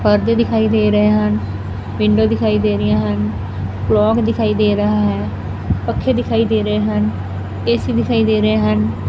ਪਰਦੇ ਦਿਖਾਈ ਦੇ ਰਹੇ ਹਨ ਵਿੰਡੋ ਦਿਖਾਈ ਦੇ ਰਹੀਆਂ ਹਨ ਕਲੋਕ ਦਿਖਾਈ ਦੇ ਰਹਾ ਹੈ ਪੱਖੇ ਦਿਖਾਈ ਦੇ ਰਹੇ ਹਨ ਏ_ਸੀ ਦਿਖਾਈ ਦੇ ਰਹੇ ਹਨ।